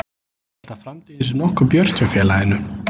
Ég held að framtíðin sé nokkuð björt hjá félaginu.